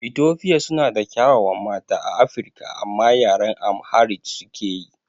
Etofia suna da ƙyawawan mata a Afirika amma yaren AmhariC suke yi